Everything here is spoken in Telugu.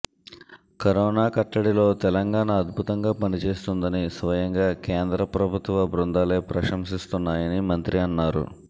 కరోనా కట్టడిలో తెలంగాణ అద్బుతంగా పనిచేస్తుందని స్వయంగా కేంద్ర ప్రభుత్వ బృందాలే ప్రశంసిస్తున్నాయని మంత్రి అన్నారు